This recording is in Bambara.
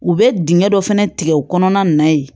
U bɛ dingɛ dɔ fana tigɛ o kɔnɔna na yen